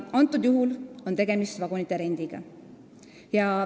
Antud juhul on tegemist vagunite rendiga.